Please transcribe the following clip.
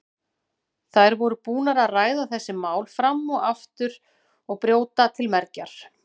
Þær voru búnar að ræða þessi mál fram og aftur og brjóta til mergjar.